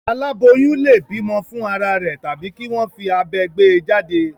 Àláboyún lè bímọ fún ara rẹ̀ tàbí kí wọ́n fi abẹ gbé e jáde.